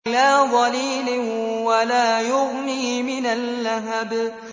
لَّا ظَلِيلٍ وَلَا يُغْنِي مِنَ اللَّهَبِ